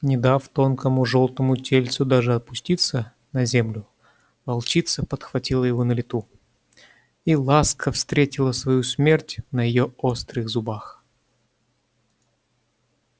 не дав тонкому жёлтому тельцу даже опуститься на землю волчица подхватила его на лету и ласка встретила свою смерть на её острых зубах